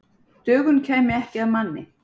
Dögun kæmi ekki að manni.